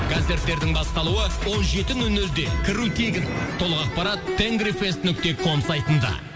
концерттердің басталуы он жеті нөл нөлде кіру тегін толық ақпарат тенгрифест нүкте ком сайтында